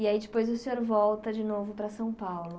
E aí depois o senhor volta de novo para São Paulo.